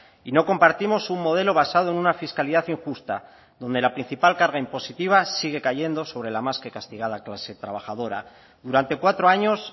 y no compartimos un modelo basado en una fiscalidad injusta donde la principal carga impositiva sigue cayendo sobre la más que castigada clase trabajadora durante cuatro años